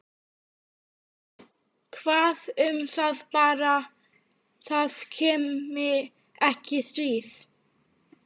Hvað um það- bara það komi ekki stríð.